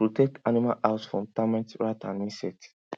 protect animal house from termite rat and insect